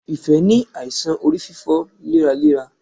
Ìfẹ́ ní àìsàn orí fífọ léraléra.